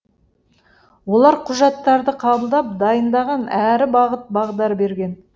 олар құжаттарды қабылдап дайындаған әрі бағыт бағдар берген